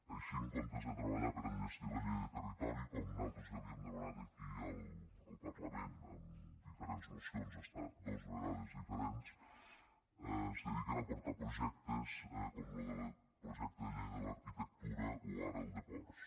així en comptes de treballar per a enllestir la llei de territori com nosaltres ja li hem demanat aquí al parlament en diferents mocions fins a dos vegades diferents es dediquen a portar projectes com lo del projecte de llei de l’arquitectura o ara el de ports